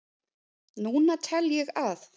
Núna tel ég að